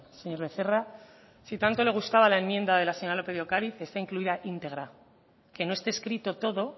señor becerra si tanto le gustaba la enmienda de la señora lópez de ocariz está incluida íntegra que no esté escrito todo